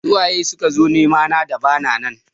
Su waye sukazo nema na da bana nan?